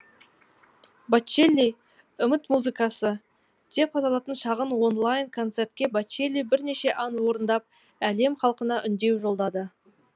бочелли үміт музыкасы деп аталатын шағын онлайн концертте бочелли бірнеше ән орындап әлем халқына үндеу жолдады